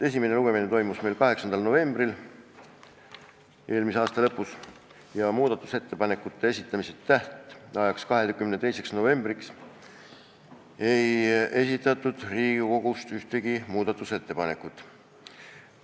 Esimene lugemine toimus meil 8. novembril eelmise aasta lõpus ja muudatusettepanekute esitamise tähtajaks, 22. novembriks ei esitatud Riigikogust ühtegi muudatusettepanekut.